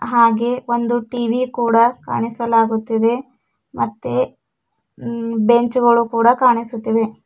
ಹಾಗೆ ಒಂದು ಟಿ_ವಿ ಕೂಡ ಕಾಣಿಸಲಾಗುತ್ತಿದೆ ಮತ್ತೆ ಬೆಂಚ್ ಗಳು ಕೂಡ ಕಾಣಿಸುತ್ತಿವೆ.